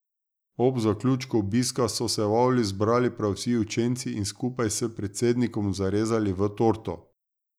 Ob zaključku obiska so se v avli zbrali prav vsi učenci in skupaj s predsednikom zarezali v torto.